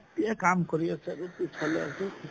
কাম কৰি আছে ভালে আছো